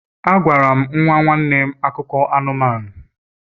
Agwara m nwa nwanne nwanne m akụkọ anụmanụ